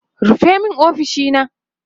rufe min ofishina!